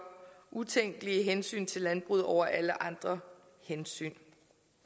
utænkelige hensyn til landbruget over alle andre hensyn